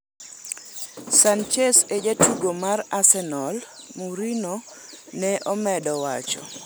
""Sanchez e jatugo mar Arsenal," Mourinho ne omedo wacho.